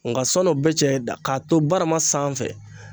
Nga sɔn'o bɛɛ cɛ da k'a to barama sanfɛ